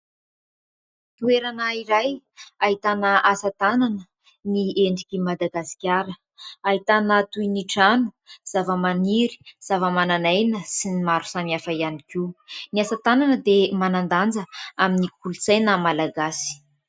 Toerana iray ahitana asa tanana ny endriky Madagasikara ahitana toy ny : trano, zava-maniry, zava-manan'aina sy ny maro samihafa ihany koa. Ny asa tanana dia manan-danja amin'ny kolontsaina Malagasy.